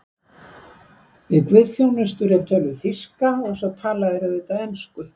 Við guðsþjónustur er töluð þýska og svo tala þeir auðvitað ensku.